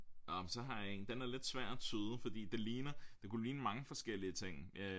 Nåh men så har jeg en den er lidt svær at tyde fordi det ligner det kunne ligne mange forskellige ting øh